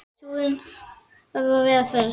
Súrinn þarf að vera hress!